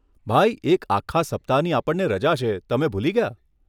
ભાઈ, એક આખા સપ્તાહની આપણને રજા છે, તમે ભૂલી ગયા?